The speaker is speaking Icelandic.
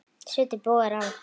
Svitinn bogar af honum.